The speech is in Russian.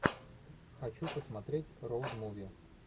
хочу посмотреть роуд муви